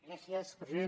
gràcies president